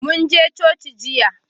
Mun je coci jiya